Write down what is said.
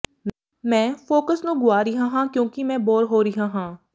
ਮੈਂ ਫੋਕਸ ਨੂੰ ਗੁਆ ਰਿਹਾ ਹਾਂ ਕਿਉਂਕਿ ਮੈਂ ਬੋਰ ਹੋ ਰਿਹਾ ਹਾਂ